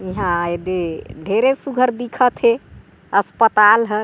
इहाँ आए ले ढेरे सुघघर दिखत हे अस्पताल ह--